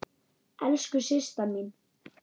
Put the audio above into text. Elsku Systa mín.